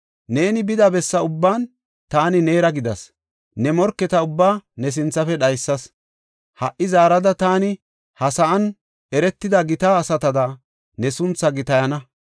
Neeni bida bessa ubban taani neera gidas; ne morketa ubbaa ne sinthafe dhaysas. Ha77i zaarada taani ha sa7an eretida gita asatada ne sunthaa gitayana.